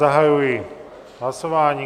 Zahajuji hlasování.